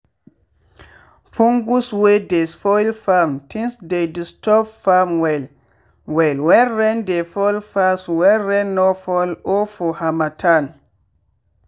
fungus wey dey spoil farm things dey disturb farm well well when rain dey fall pass when rain no fall or for harmattan.